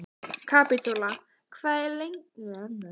Kapitola, hvað er opið lengi á fimmtudaginn?